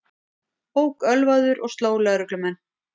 Ók ölvaður og sló lögreglumenn